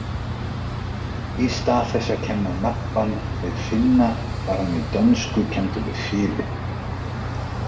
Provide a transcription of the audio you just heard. Í stað þess að kenna nabbann við Finna var hann í dönsku kenndur við Philip.